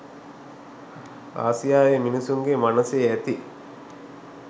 ආසියාවේ මිනිසුන්ගේ මනසේ ඇති